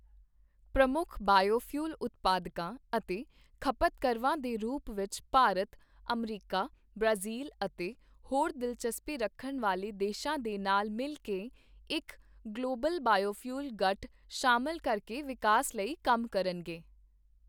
ਪ੍ਰਮੁੱਖ ਬਾਇਓਫਿਊਲ ਉਤਪਾਦਕਾਂ ਅਤੇ ਖਪਤਕਰਵਾਂ ਦੇ ਰੂਪ ਵਿੱਚ ਭਾਰਤ, ਅਮਰੀਕਾ, ਬ੍ਰਾਜ਼ੀਲ ਅਤੇ ਹੋਰ ਦਿਲਚਸਪੀ ਰੱਖਣ ਵਾਲੇ ਦੇਸ਼ਾਂ ਦੇ ਨਾਲ ਮਿਲ ਕੇ ਇੱਕ ਗਲੋਬਲ ਬਾਇਓਫਿਊਲ ਗਠ ਸ਼ਾਮਿਲ ਕਰਕੇ ਵਿਕਾਸ ਲਈ ਕੰਮ ਕਰਨਗੇ।